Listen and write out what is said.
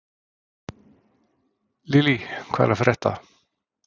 Lílý, hvað er að frétta?